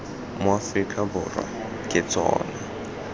mo aforika borwa ke tsona